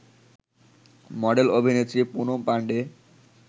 মডেল-অভিনেত্রী Poonam Pandey